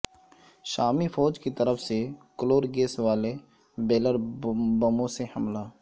شامی فوج کی طرف سے کلور گیس والے بیرل بموں سے حملہ